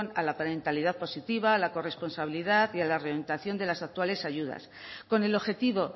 a la parentalidad positiva la corresponsabilidad y a la realización de las actuales ayudas con el objetivo